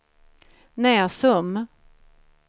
Näsum